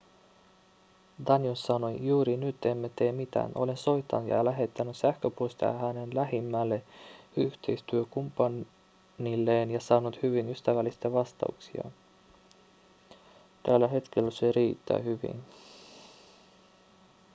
danius sanoi juuri nyt emme tee mitään olen soittanut ja lähettänyt sähköposteja hänen lähimmälle yhteistyökumppanilleen ja saanut hyvin ystävällisiä vastauksia tällä hetkellä se riittää hyvin